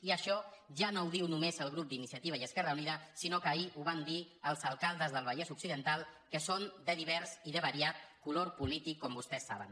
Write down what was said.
i això ja no ho diu només el grup d’iniciativa i esquerra unida sinó que ahir ho van dir els alcaldes del vallès occidental que són de divers i de variat color polític com vostès saben